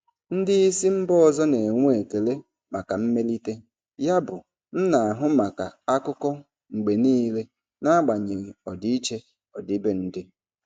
Ndị isi mba ọzọ na-enwe ekele maka mmelite, yabụ m na-ahụ maka akụkọ mgbe niile n'agbanyeghị ọdịiche ọdịbendị.